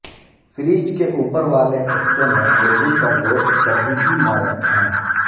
fridge کے اوپر والے حصے میں مرغی کا گوشت کبھی بھی نہ رکھیں